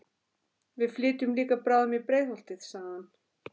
Við flytjum líka bráðum í Breiðholtið, sagði hann.